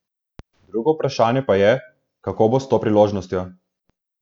Drugo vprašanje pa je, kako bo s to priložnostjo.